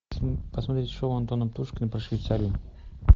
посмотреть шоу антона птушкина про швейцарию